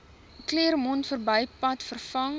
claremont verbypad vervang